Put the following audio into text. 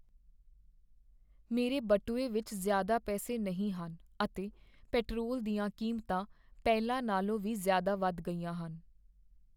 ਮੇਰੇ ਬਟੂਏ ਵਿੱਚ ਜ਼ਿਆਦਾ ਪੈਸੇ ਨਹੀਂ ਹਨ ਅਤੇ ਪੇਟਰੋਲ ਦੀਆਂ ਕੀਮਤਾਂ ਪਹਿਲਾਂ ਨਾਲੋਂ ਵੀ ਜ਼ਿਆਦਾ ਵੱਧ ਗਈਆ ਹਨ।